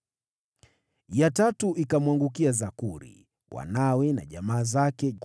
Ya tatu ikamwangukia Zakuri, wanawe na jamaa zake, 12